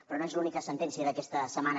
però no és l’única sentència d’aquesta setmana